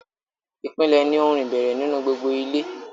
ìpìlẹ̀ ni ohun ìbẹ̀rẹ̀ nínú gbogbo ilé.